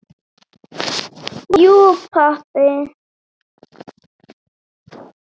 Jú pabbi.